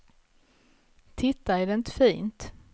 Titta, är det inte fint.